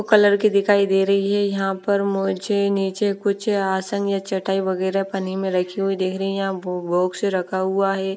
Colour के दिखाई दे रही है यहां पर मुझे नीचे कुछ आसन या चटाई वगैरा पन्नी में रखी हुई देख रही है यहां बॉक्स रखा हुआ है।